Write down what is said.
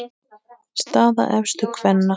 Staða efstu kvenna